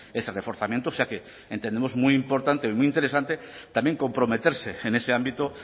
ese reforzamiento o sea que entendemos muy importante muy interesante también comprometerse en ese ámbito